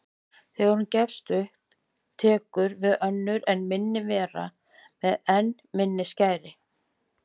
Ég á ekki von á því.